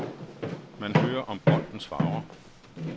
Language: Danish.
Man hører om boldens farver.